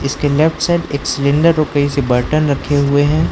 उसके left side एक cylinder बर्तन रखे हुए हैं।